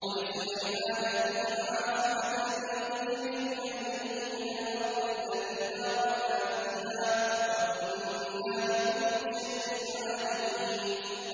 وَلِسُلَيْمَانَ الرِّيحَ عَاصِفَةً تَجْرِي بِأَمْرِهِ إِلَى الْأَرْضِ الَّتِي بَارَكْنَا فِيهَا ۚ وَكُنَّا بِكُلِّ شَيْءٍ عَالِمِينَ